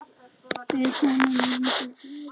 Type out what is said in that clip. Með honum muntu verja mig.